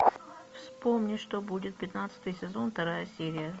вспомни что будет пятнадцатый сезон вторая серия